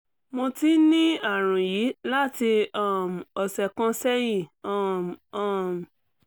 mo ti ń ní àrùn yìí láti um ọ̀sẹ̀ kan sẹ́yìn um um